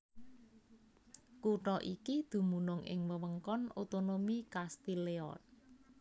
Kutha iki dumunung ing wewengkon otonomi Castile Leon